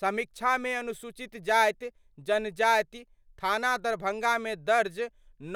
समीक्षामे अनुसूचित जाति जनजाति थाना दरभंगामे दर्ज